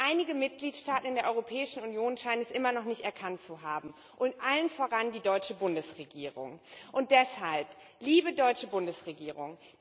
Aber einige Mitgliedstaaten in der Europäischen Union scheinen das immer noch nicht erkannt zu haben, und allen voran die deutsche Bundesregierung. Und deshalb Liebe deutsche Bundesregierung!